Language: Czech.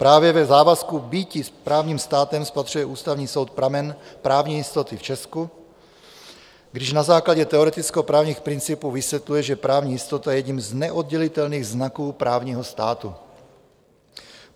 Právě v závazku bytí právním státem spatřuje Ústavní soud pramen právní jistoty v Česku, když na základě teoretickoprávních principů vysvětluje, že právní jistota je jedním z neoddělitelných znaků právního státu.